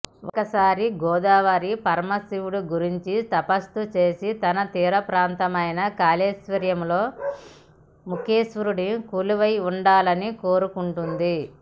ఒకసారి గోదావరి పరమశివుడి గురించి తప్పస్సు చేసి తన తీర ప్రాంతమైన కాళేశ్వరంలో ముక్తేశ్వరుడిగా కొలువై ఉండాలని కోరుకుంటుంది